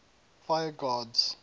fire gods